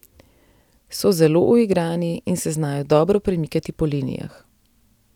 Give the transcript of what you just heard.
So zelo uigrani in se znajo dobro premikati po linijah.